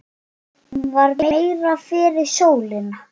Hún var meira fyrir sólina.